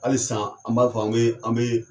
Halisa an b'a fɔ, an bi an bi